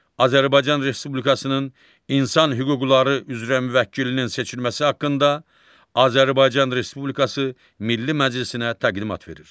Azərbaycan Respublikasının insan hüquqları üzrə müvəkkilinin seçilməsi haqqında Azərbaycan Respublikası Milli Məclisinə təqdimat verir.